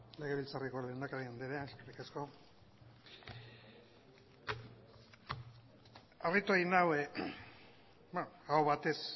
legebiltzarreko lehendakari anderea eskerrik asko harritu egin nau aho batez